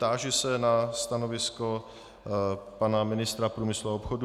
Táži se na stanovisko pana ministra průmyslu a obchodu.